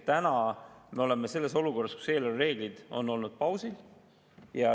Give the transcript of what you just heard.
Täna me oleme olukorras, kus eelarvereeglid on olnud pausil.